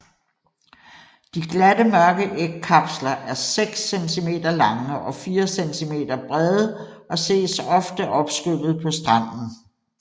De glatte mørke ægkapsler er seks cm lange og fire cm bredde og ses ofte opskyllet på stranden